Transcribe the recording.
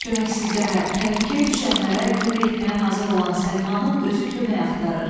Köməksizlərə, təhlükəyə düşənlərə kömək etməyə hazır olan Səlmanın özü kömək axtarır.